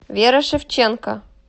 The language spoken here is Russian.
вера шевченко